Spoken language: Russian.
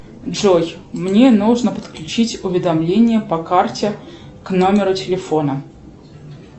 джой мне нужно подключить уведомления по карте к номеру телефона